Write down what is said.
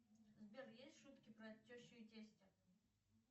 сбер есть шутки про тещу и тестя